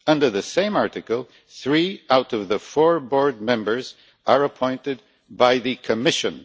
Under the same Article, three out of the four board members are appointed by the Commission.